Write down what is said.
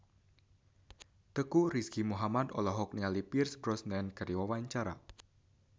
Teuku Rizky Muhammad olohok ningali Pierce Brosnan keur diwawancara